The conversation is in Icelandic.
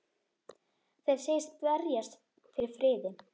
Þeir segjast berjast fyrir friði.